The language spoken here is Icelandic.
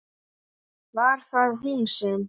Var það hún sem?